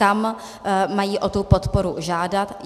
Kam mají o tu podporu žádat.